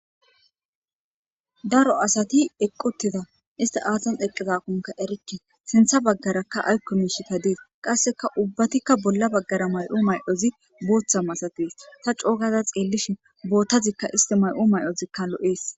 Daro asati eqquttiza isti aatan eqqizakunka erikki sintha baggarakka aykko miishita dees qasseka ubbatikka bolla baggara may7u may7ozi buutha masatees ta coogaza xeellishi boottazikka isti may7u may7ozikka lo7ees.